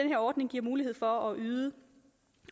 her ordning giver mulighed for at yde